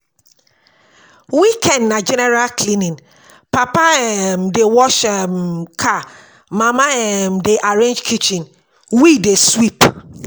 Weekend na general cleaning, Papa um dey wash um car, Mama um dey arrange kitchen, we dey sweep.